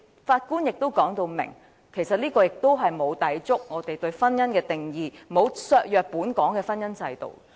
法官亦表明，這與我們對婚姻的定義並無抵觸，亦沒有削弱本港的婚姻制度。